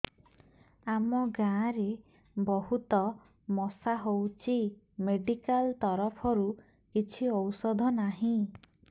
ଆମ ଗାଁ ରେ ବହୁତ ମଶା ହଉଚି ମେଡିକାଲ ତରଫରୁ କିଛି ଔଷଧ ନାହିଁ